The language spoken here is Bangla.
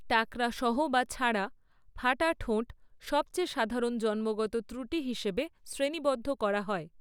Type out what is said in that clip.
টাকরা সহ বা ছাড়া, ফাটা ঠোঁট সবচেয়ে সাধারণ জন্মগত ত্রুটি হিসাবে শ্রেণীবদ্ধ করা হয়।